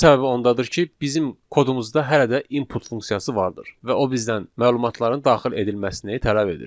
Bunun səbəbi ondadır ki, bizim kodumuzda hələ də input funksiyası vardır və o bizdən məlumatların daxil edilməsini tələb edir.